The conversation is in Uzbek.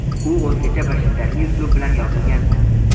U o‘zgacha bir shiddatli uslub bilan yozilgan.